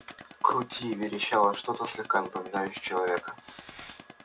крути верещало что-то слегка напоминавшее человека